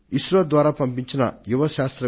దీనిని మనసులో ఉంచుకొన్నప్పుడు నా అభిప్రాయంలో